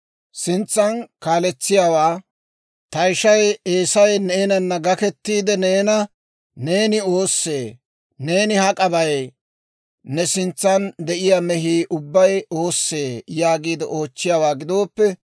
Sintsan kaaletsiyaawaa, «Ta ishay Eesay neenana gaketiide neena, ‹Neeni oossee? Neeni hak'a bay? Ne sintsan de'iyaa mehiyaa ubbay oossee?› yaagiide oochchiyaawaa gidooppe,